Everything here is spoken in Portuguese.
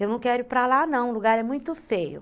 Eu não quero ir para lá, não, o lugar é muito feio.